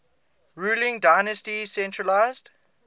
ruling dynasty centralised